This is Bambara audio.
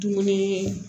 Dumuni